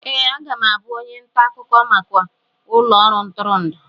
Ee, aga m abụ onye nta akụkọ maka ụlọ ọrụ ntụrụndụ.